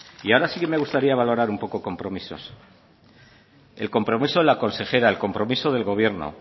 y ahora sí que me gustaría valorar un poco compromisos el compromiso de la consejera el compromiso del gobierno